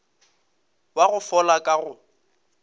wa go fola wa go